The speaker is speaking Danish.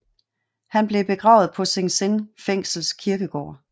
Han blev begravet på Sing Sing fængsels kirkegård